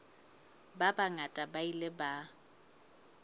ba bangata ba ile ba